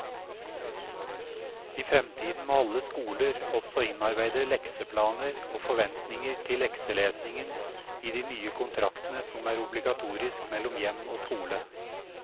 I fremtiden må alle skoler også innarbeide lekseplaner og forventninger til lekselesingen i de nye kontraktene som er obligatorisk mellom hjem og skole.